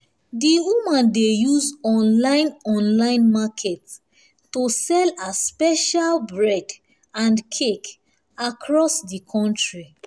di woman dey use online online market to sell her special bread and cake across di country.